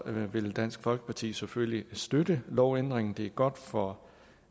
vil dansk folkeparti selvfølgelig støtte lovændringen det er godt for